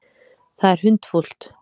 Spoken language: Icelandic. Það er hundfúlt.